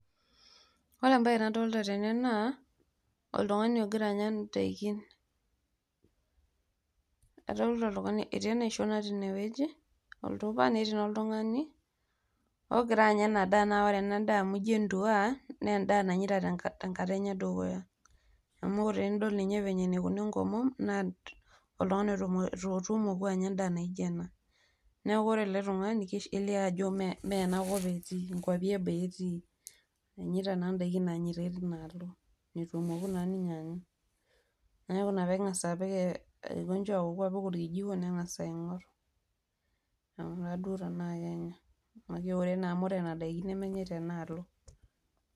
Ore embae nadolita tene naa oltung'ani ogira anya indaikin adolita oltung'ani etii enaisho natii ine wueji oltupa netii naa oltung'ani ogira anya ina daa naa ore naa ina daa naa amu ijio enduaaa naa endaa enye nanyaita tenkata enye edukuya amu tinidol ninye venye naikuna enkomom naa oltung'ani leitu emoku anya endaa naijio ena neeku ore ele tung'ani kelio aje ajo mee enakop etii nkuapi eboo etii enyaitaa naa indaiki naanyaitai tinaalo neitu emoku naaninye anya neeku ina peeng'a aawoku apik orkijiko neng'as aing'or aing'uraa duo tenaa Kenya amu ore nena daiki nemenyai tenaalo.